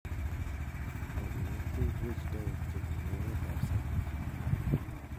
rapinik cheibwech taek chebunu emet ab sang